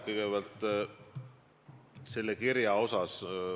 Kõigepealt sellest kirjast.